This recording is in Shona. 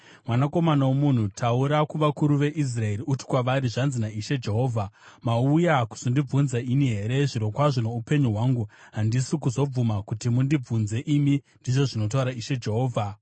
“Mwanakomana womunhu, taura kuvakuru veIsraeri uti kwavari, ‘Zvanzi naIshe Jehovha: Mauya kuzondibvunza ini here? Zvirokwazvo noupenyu hwangu, handisi kuzobvuma kuti mundibvunze imi, ndizvo zvinotaura Ishe Jehovha.’